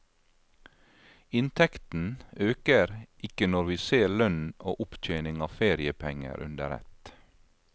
Inntekten øker ikke når vi ser lønn og opptjening av feriepenger under ett.